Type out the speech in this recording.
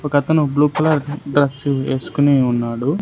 ఒక అతను blue colour dress వేసుకుని ఉన్నాడు.